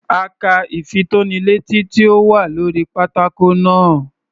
A ka ìfitónilétí tí ó wà lórí pátákó náà.